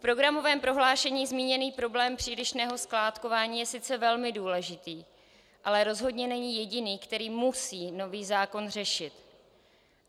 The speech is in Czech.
V programovém prohlášení zmíněný problém přílišného skládkování je sice velmi důležitý, ale rozhodně není jediný, který musí nový zákon řešit.